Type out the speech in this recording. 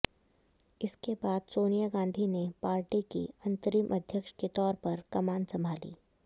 इसके बाद सोनिया गांधी ने पार्टी की अंतरिम अध्यक्ष के तौर पर कमान संभाली